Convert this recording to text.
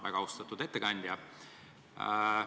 Väga austatud ettekandja!